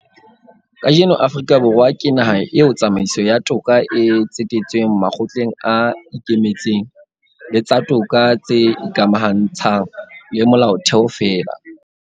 Kajeno Afrika Borwa ke naha eo tsamaiso ya toka e tsetetsweng makgotleng a ikemetseng le tsa toka tse ikamahantshang le Molaotheo feela.